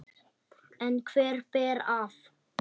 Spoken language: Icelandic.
En hver ber af?